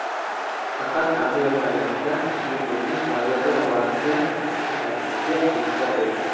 Faqat artayotganingizda suyuqlikning klaviatura orasiga oqib ketmasligiga e’tibor bering.